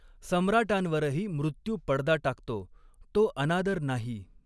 सम्राटांवरही मृत्यू पडदा टाकतो, तो अनादर नाही.